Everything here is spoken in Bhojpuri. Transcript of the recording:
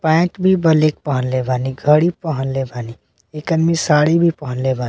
पेंट भी ब्लैक पहनले बानी घड़ी पहनले बानी एक आदमी साड़ी भी पहनले बानी।